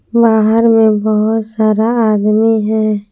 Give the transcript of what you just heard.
बाहर में बहुत सारा आदमी है।